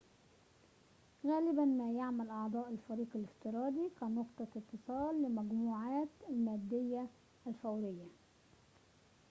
غالباً ما يعمل أعضاء الفريق الافتراضي كنقطة اتصال لمجموعاتهم المادية الفورية